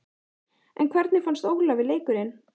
En hvernig fannst Ólafi leikurinn?